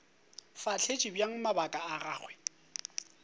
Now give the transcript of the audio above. fahletše bjang mabaka a gagwe